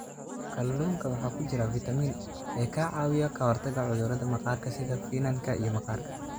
Kalluunka waxaa ku jira fiitamiin e ka caawiya ka hortagga cudurrada maqaarka sida finanka iyo maqaarka.